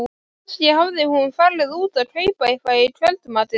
Kannski hafði hún farið út að kaupa eitthvað í kvöldmatinn.